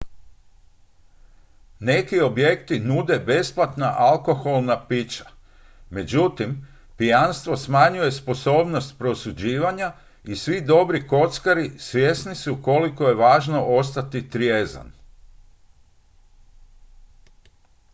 neki objekti nude besplatna alkoholna pića međutim pijanstvo smanjuje sposobnost prosuđivanja i svi dobri kockari svjesni su koliko je važno ostati trijezan